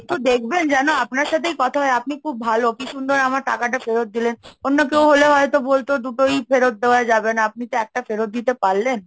একটু দেখবেন যেন আপনার সাথেই কথা হয়, আপনি খুব ভালো, কি সুন্দর আমার টাকাটা ফেরত দিলেন, অন্য কেউ হলে হয়তো বলতো দুটোই ফেরত দেওয়া যাবে না, আপনি তো একটা ফেরত দিতে পারলেন।